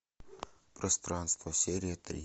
пространство серия три